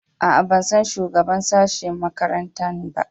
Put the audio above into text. A a, ban san shugaban sashe makarantana ba.